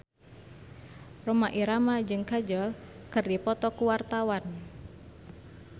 Rhoma Irama jeung Kajol keur dipoto ku wartawan